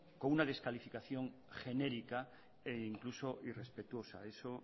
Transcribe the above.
con una descalificación genérica e incluso irrespetuosa eso